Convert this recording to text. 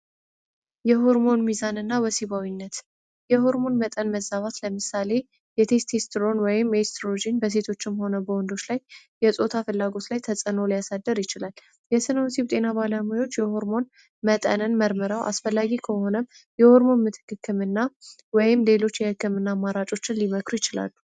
የሁርሞን ሚዛን እና ወሲባዊነት የሆርሞን መጠን መዛባት ለምሳሌ የቴስቲስትሮን ወይም ኤስትሮጂን በሴቶችም ሆነ በውንዶች ላይ የጾታ ፍላጎስ ላይ ተጸኖ ሊያሳደር ይችላል የስኖወሲብ ጤና ባለሙዮች የሆርሞን መጠነን መርምራው አስፈላጊ ከሆነም የሆርሞን ምትክክምና ወም ሌሎች የሕክምና ማራጮችን ሊመክሩ ይችላሉ፡፡